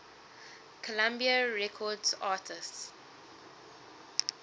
columbia records artists